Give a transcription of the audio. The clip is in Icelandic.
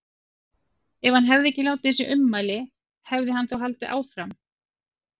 Ef hann hefði ekki látið þessi ummæli, hefði hann þá haldið áfram?